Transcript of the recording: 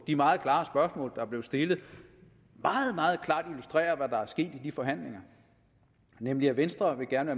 de meget klare spørgsmål der blev stillet meget meget klart illustrerer hvad der er sket i de forhandlinger nemlig at venstre gerne